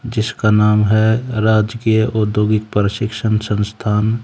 जिसका नाम है राजकीय औद्योगिक प्रशिक्षण संस्थान--